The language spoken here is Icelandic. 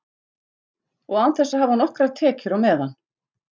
Og án þess að hafa nokkrar tekjur á meðan.